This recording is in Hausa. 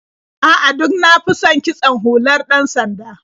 A'a, duk na fi son kitson hular ɗan-sanda.